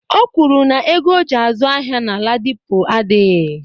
O kwuru na ego oji azụ ahịa na Ladipo adịghị.